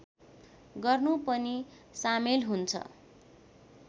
गर्नु पनि सामेल हुन्छ